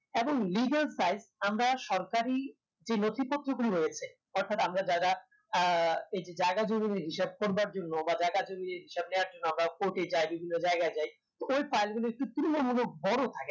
এবং legal size আমরা সরকারি যে নথিপত্রগুলো রয়েছে অর্থাৎ আমরা যারা আহ এই যে জায়গা জমিনের হিসাব করবার জন্য বা জায়গা জমির হিসাব নেয়ার জন্য আমরা court এ যাই বিভিন্ন জায়গায় যাই ওই file গুলো একটু তুলনামূলক বড় থাকে